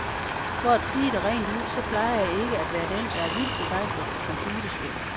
For at sige det rent ud, så plejer jeg ikke at være den, der er vildt begejstret for computerspil.